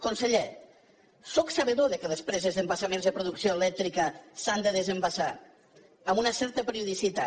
conseller sóc sabedor que les preses d’embassaments de producció elèctrica s’han de desembassar amb una certa periodicitat